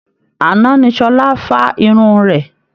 Àná ni Ṣọlá fá irun rẹ̀